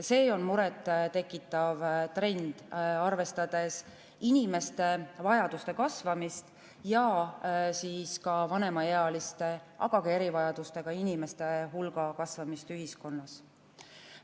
See on muret tekitav trend, arvestades inimeste vajaduste kasvamist ja vanemaealiste, aga ka erivajadustega inimeste hulga kasvamist ühiskonnas.